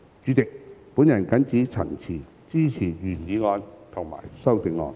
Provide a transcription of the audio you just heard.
主席，我謹此陳辭，支持原議案及修正案。